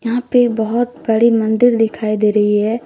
यहां पर बहुत बड़े मंदिर दिखाई दे रही है।